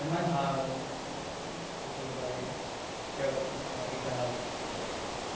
É mais raro né encontrar assim pessoas galegas, que a gente chamava de gazo.